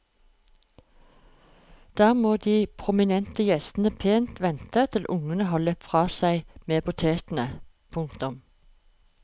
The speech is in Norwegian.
Der må de prominente gjestene pent vente til ungene har løpt fra seg med potetene. punktum